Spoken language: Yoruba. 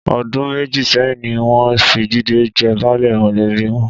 Ọdún méjì sẹ́yìn ni wọ́n fi Jídé jẹ baálé mọ̀lẹ́bí wọn.